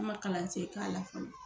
Ne ma kalansen k'a la fɔlɔ